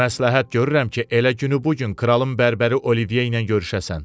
Məsləhət görürəm ki, elə günü bu gün kralın bərbəri Olivye ilə görüşəsən.